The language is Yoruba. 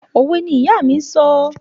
Òwe ni ìyá mi ń sọ.